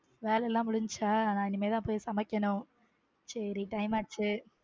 வேலையெல்லாம் முடிஞ்சிருச்சா நான் இனிமேல் தான் போய் சமைக்கணும் சரி time ஆச்சு.